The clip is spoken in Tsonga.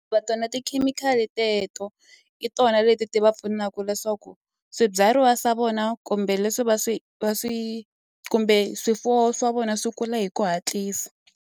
tona tikhemikhali teto hi tona leti ti va pfunaku leswaku swibyariwa swa vona kumbe leswi va swi va swi kumbe swifuwo swa vona swi kula hi ku hatlisa.